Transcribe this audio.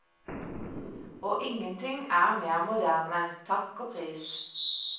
Og ingenting er mer moderne, takk og pris.